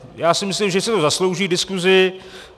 Já si myslím, že si to zaslouží diskusi.